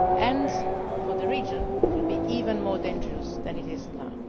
And for the region it will be even more dangerous than it is